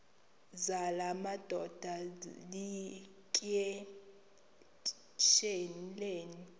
zala madoda yityesheleni